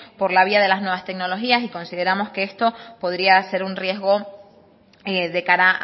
por la vía de las nuevas tecnologías y consideramos que esto podría ser un riesgo de cara